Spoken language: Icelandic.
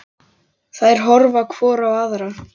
Þær horfa hvor á aðra.